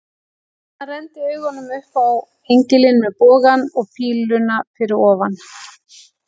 Hann renndi augunum upp á engilinn með bogann og píluna fyrir ofan.